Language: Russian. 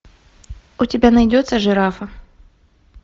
у тебя найдется жирафа